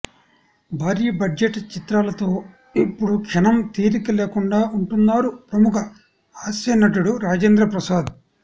భారీ బడ్జెట్ చిత్రాలతో ఇప్పుడు క్షణం తీరిక లేకుండా ఉంటున్నారు ప్రముఖ హాస్య నటుడు రాజేంద్ర ప్రసాద్